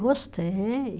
Gostei.